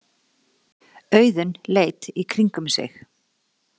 Auðunn leit í kringum sig.